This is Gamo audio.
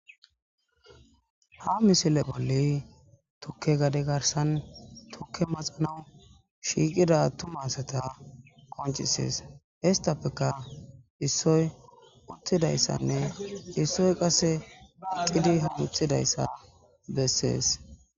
ha misile bolli tukke gade garsan tukke maxanau shiiqida tumasata koncisees histapfeka issoy uttidayssanne issoy qase iqidi hamuthidayssa bessees